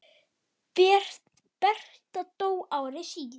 Berta dó ári síðar.